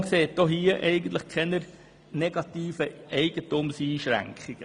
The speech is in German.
Die Kommission sieht auch hier keine negativen Eigentumseinschränkungen.